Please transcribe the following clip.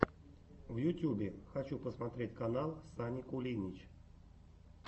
в ютьюбе хочу посмотреть канал сани кулинич